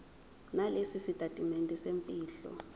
nalesi sitatimende semfihlo